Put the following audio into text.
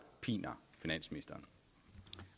piner finansministeren